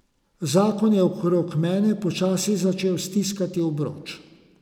Zakon je okrog mene počasi začel stiskati obroč.